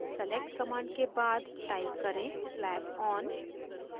select command के बाद type करें slab on